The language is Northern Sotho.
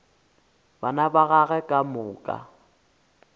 bana ba gagwe ka moka